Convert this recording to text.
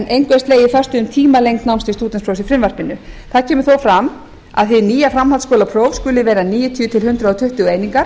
er slegið föstu um tímalengd náms til stúdentsprófs í frumvarpinu þar kemur þó fram að hið nýja framhaldsskólapróf skuli vera níutíu til hundrað tuttugu einingar